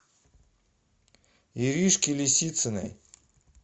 иришке лисициной